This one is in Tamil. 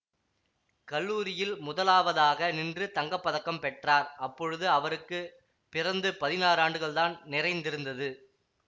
கல்லூரியில் முதலாவதாக நின்று தங்க பதக்கம் பெற்றார் அப்பொழுது அவருக்கு பிறந்து பதினாறு ஆண்டுகள் தான் நிறைந்திருந்தது